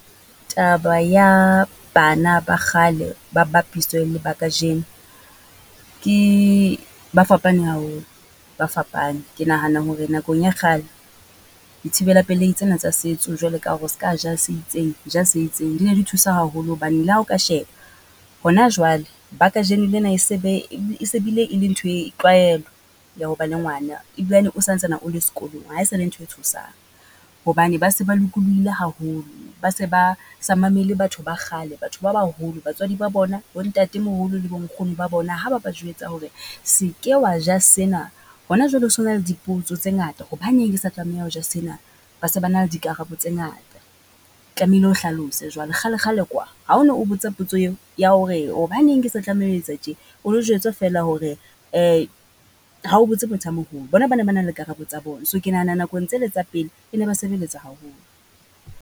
Taba ya bana ba kgale ba bapiswe le ba kajeno. Ke, ba fapane haholo ba fapane. Ke nahana hore nakong ya kgale di thibella pelehi tsena tsa setso jwale ka hore ska ja se itseng, ja se itseng. Di ne di thusa haholo hobane le ha o ka sheba, hona jwale ba kajeno lena e se be e se bile e le nthwe, tlwaelo ya ho ba le ngwana. Ebilane o santsana o le sekolong, ha e sa le ntho e tshosang, hobane ba se ba lokolohile haholo. Ba se ba sa mamele batho ba kgale, batho ba baholo, batswadi ba bona. Bo ntatemoholo le bo nkgono ba bona ha ba ba jwetsa hore se ke wa ja sena, hona jwale ho so na le dipotso tse ngata. Hobaneng sa tlameha ho ja sena? Ba se ba na le di karabo tse ngata, tlamehile o hlalose jwale. Kgale kgale kwa, ha o no o botsa potso eo, ya hore hobaneng ke sa tlameha ho etsa tje? O no jwetswa feela hore ha o botse motho a moholo. Bona ba ne ba na le karabo tsa bona, so ke nahana nakong tsele tsa pele, e ne ba sebeletsa haholo.